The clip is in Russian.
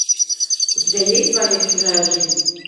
у тебя есть своя чужая жизнь